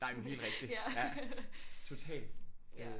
Nej men helt rigtigt ja totalt